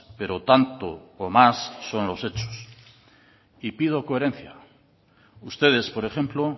pero tanto o más son los hechos y pido coherencia ustedes por ejemplo